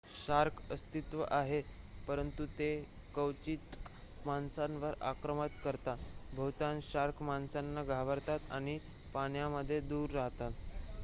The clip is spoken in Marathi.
शार्क अस्तित्वात आहेत परंतु ते क्वचितच माणसांवर आक्रमण करतात बहुतांश शार्क माणसांना घाबरतात आणि पाण्यामध्ये दूर राहतात